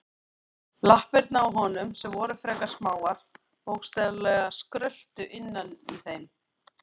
Lappirnar á honum, sem voru frekar smáar, bókstaflega skröltu innan í þeim.